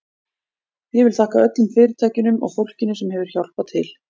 Ég vil þakka öllum fyrirtækjunum og fólkinu sem hefur hjálpað til.